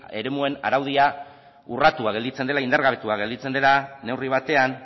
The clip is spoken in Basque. eremuen araudia urratua gelditzen dela indar gabetua gelditzen dela neurri batean